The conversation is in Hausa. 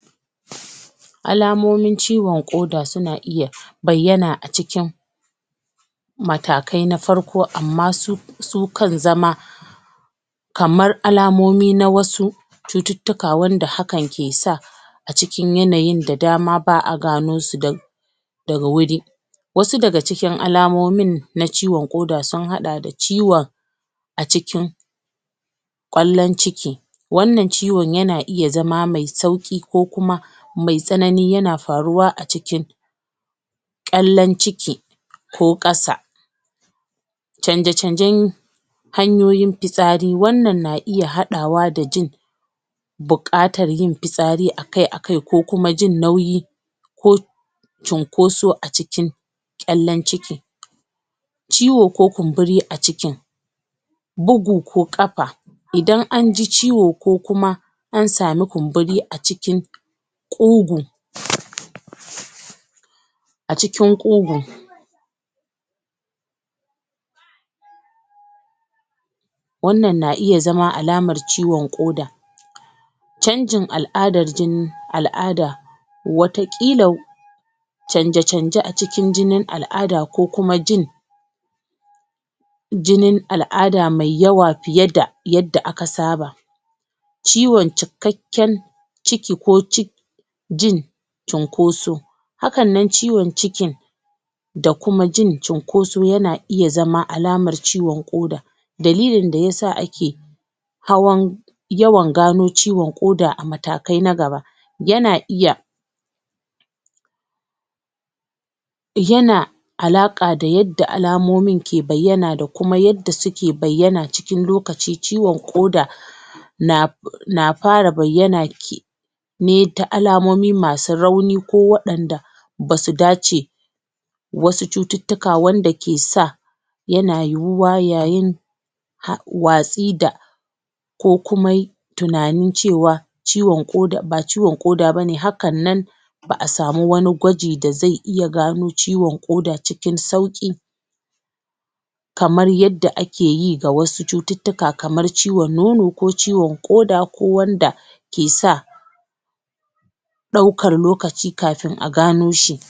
alamomin ciwon ƙoda suna iya bayyana a cikin matakai na farko amma su su kan zama kamar alamomi na wasu cututtuka wanda hakan ke sa a cikin yanayin da dama ba'a gano su da da wuri wasu daga cikin alamomin na ciwon ƙoda sun haɗa da ciwon a cikin ƙwallon ciki wannan ciwon yana iya zama me sauƙi ko kuma me tsanani yana faruwa a cikin ƙyallan ciki ko ƙasa canje-canjen hanyoyin fitsari wannan na iya haɗawa da jin buƙatar yin fitsari akai-akai ko kuma jin nauyi ko cinkoso a cikin ƙyallen ciki ciwo ko kumburi a cikin bugu ko ƙafa idan an ji ciwo ko kuma an sami kumburi a cikin ƙugu a cikin ƙugu wannan na iya zama alamar ciwon ƙoda canjin al'adar jini al'ada wata ƙila canje-canje a cikin jinin al'ada ko kuma jin jinin al'ada me yawa fiye da yadda aka saba ciwon ciki ciki ko jin cinkoso hakanan ciwon cikin da kuma jin cinkoso yana iya zama alamar ciwon ƙoda dalilin da yasa ake hawan yawan gano ciwon ƙoda a matakai na gaba yana iya yana alaƙa da yadda alamomin ke bayyana da kuma yadda suke bayyana cikin lokaci. ciwon ƙoda na na fara bayyana ne ta alamomi masu rauni ko waɗanda basu dace wasu cututtuka wanda ke sa yana yiwuwa yayin watsi da ko kuma tunanin cewa ba ciwon ƙoda bane haka nan ba'a samu wani gwaji da ze iya gano ciwon ƙoda cikin sauƙi kamar yadda ake yi ga wasu cututtuka kamar ciwon nono ko ciwon ƙoda ko wanda ke sa ɗaukan lokaci kafin a gano shi